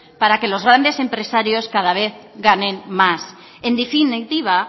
para que los grandes empresarios cada vez ganen más en definitiva